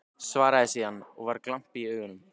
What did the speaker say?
Svaraði síðan, og var glampi í augunum: